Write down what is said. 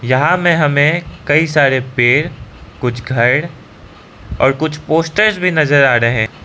यहाँ में हमें कई सारे पेड़ कुछ घर और कुछ पोस्टर्स भी नजर आ रहे--